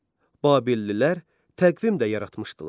Babillilər təqvim də yaratmışdılar.